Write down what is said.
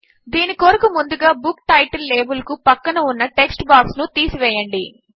దీని కొరకు ముందుగా బుక్ టైటిల్ లాబెల్ కు ప్రక్కన ఉన్న టెక్స్ట్ బాక్స్ ను తీసివేయండి